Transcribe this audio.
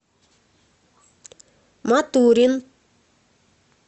матурин